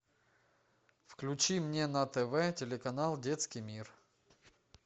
включи мне на тв телеканал детский мир